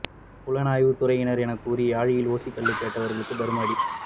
புலனாய்வுத் துறையினர் எனக் கூறி யாழில் ஓசிக் கள்ளுக் கேட்டவர்களுக்கு தர்ம அடி